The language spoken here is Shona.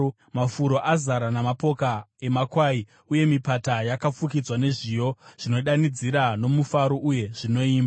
Mafuro azara namapoka emakwai, uye mipata yafukidzwa nezviyo; zvinodanidzira nomufaro uye zvinoimba.